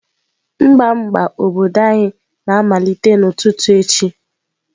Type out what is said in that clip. Mgba mgba obodo anyị na-amalite n'ụtụtụ echi.